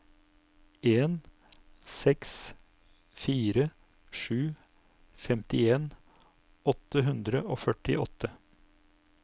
en seks fire sju femtien åtte hundre og førtiåtte